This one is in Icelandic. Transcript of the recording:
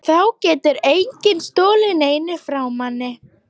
Þá getur enginn stolið neinu frá manni.